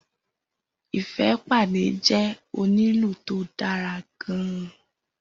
Ifepade jẹ́ onílù tó dára gan-an